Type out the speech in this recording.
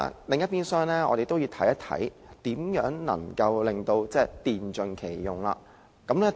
另一邊廂，我們也要看看如何能電盡其用。